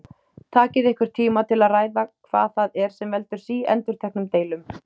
Takið ykkur tíma til að ræða hvað það er sem veldur síendurteknum deilum.